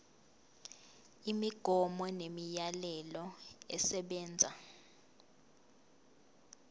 imigomo nemiyalelo esebenza